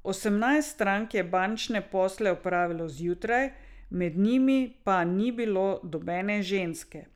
Osemnajst strank je bančne posle opravilo zjutraj, med njimi pa ni bilo nobene ženske.